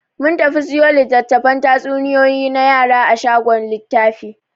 Mun tafi siyo litattafan tatsuniyoyi na yara a shagon littafi.